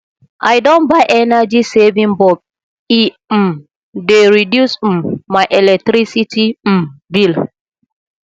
i don buy energy saving bulb e um dey reduce um my electricity um bill